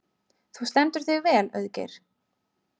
Þú stendur þig vel, Auðgeir!